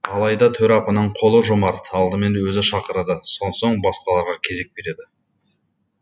алайда төрапаның қолы жомарт алдымен өзі шақырады сонсоң басқаларға кезек береді